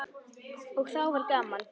Og þá var gaman.